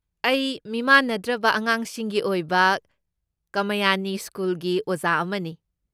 ꯑꯩ ꯃꯤꯃꯥꯟꯅꯗ꯭ꯔꯕ ꯑꯉꯥꯡꯁꯤꯡꯒꯤ ꯑꯣꯏꯕ ꯀꯃꯌꯥꯅꯤ ꯁ꯭ꯀꯨꯜꯒꯤ ꯑꯣꯖꯥ ꯑꯃꯅꯤ꯫